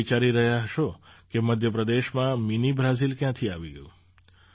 તમે વિચારી રહ્યા હશો કે મધ્ય પ્રદેશમાં મિની બ્રાઝિલ ક્યાંથી આવી ગયું